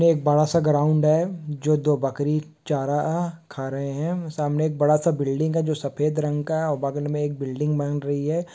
एक बड़ा-सा ग्राउंड हैं जो दो बकरी चारा-आ खा रहे हैं सामने एक बड़ा सा बिल्डिंग है जो सफेद रंग का है और बगल मे एक बिल्डिंग बन रही हैं।